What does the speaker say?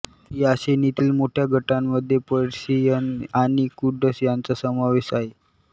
या श्रेणीतील मोठ्या गटांमध्ये पर्शियन आणि कुर्ड्स यांचा समावेश आहे